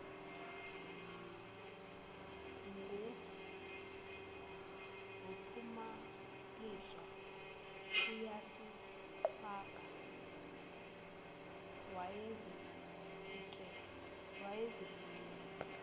nguphumasilwe uyisiqhwaga wayezifikela